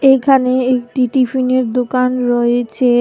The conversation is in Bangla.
এখানে একটি টিফিনের দোকান রয়েছে।